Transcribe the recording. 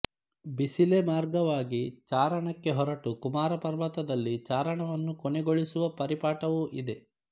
ಬಿಸಿಲೆ ಮಾರ್ಗವಾಗಿ ಚಾರಣಕ್ಕೆ ಹೊರಟು ಕುಮಾರಪರ್ವತ ದಲ್ಲಿ ಚಾರಣವನ್ನು ಕೊನೆಗೊಳಿಸುವ ಪರಿಪಾಠವೂ ಇದೆ